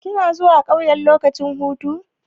Kana zuwa ƙauye lokacin hutu?